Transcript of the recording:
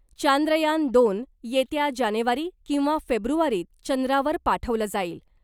चांद्रयान दोन ' येत्या जानेवारी किंवा फेब्रुवारीत चंद्रावर पाठवलं जाईल .